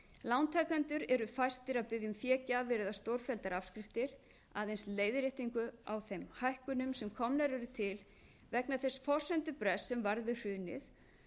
lántakendur eru fæstir að biðja um fégjafir eða stórfelldar afskriftir aðeins leiðréttingu á þeim hækkunum sem komnar eru til vegna þess forsendubrests sem varð við hrunið